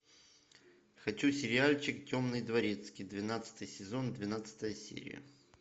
хочу сериальчик темный дворецкий двенадцатый сезон двенадцатая серия